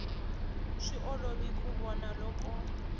swi olovi ku vona loko